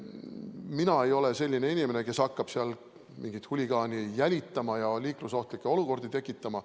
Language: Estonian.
Mina ei ole selline inimene, kes hakkab mingit huligaani jälitama ja liiklusohtlikke olukordi tekitama.